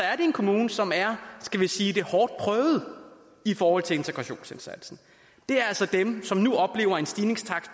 er det en kommune som er skal vi sige hårdt prøvet i forhold til integrationsindsatsen det er altså dem som nu oplever en stigningstakt